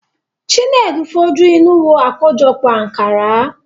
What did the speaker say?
Chinedu fojú inú wo àkójọpọ̀ Ànkárá.